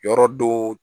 Yɔrɔ dɔ